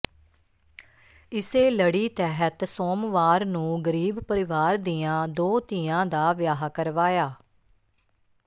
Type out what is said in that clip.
ਇਸੇ ਲੜੀ ਤਹਿਤ ਸੋਮਵਾਰ ਨੂੰ ਗਰੀਬ ਪਰਿਵਾਰ ਦੀਆਂ ਦੋ ਧੀਆਂ ਦਾ ਵਿਆਹ ਕਰਵਾ